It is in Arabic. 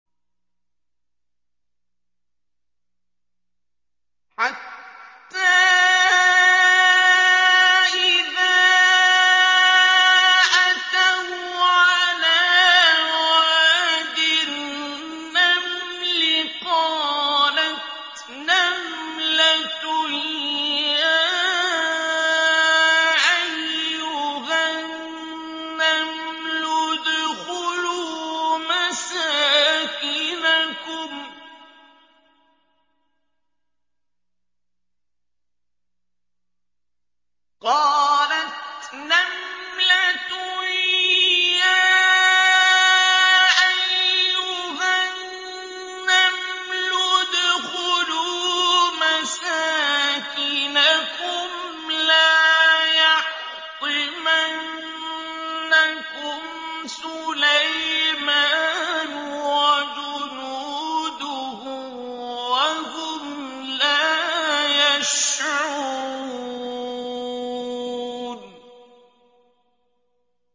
حَتَّىٰ إِذَا أَتَوْا عَلَىٰ وَادِ النَّمْلِ قَالَتْ نَمْلَةٌ يَا أَيُّهَا النَّمْلُ ادْخُلُوا مَسَاكِنَكُمْ لَا يَحْطِمَنَّكُمْ سُلَيْمَانُ وَجُنُودُهُ وَهُمْ لَا يَشْعُرُونَ